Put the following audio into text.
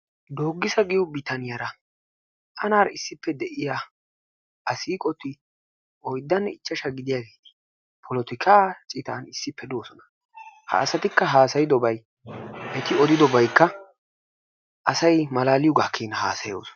Dooggissa giyo bitaniyaara tanaara issippe de'iya a siiqoti oyddanne ichchashshaa gidiyageeti polottikka citan issippe de'oosona. Ha asatikka haasayiddobay eti odiddobaykka asay malaaliyogaa keena haasayoosona.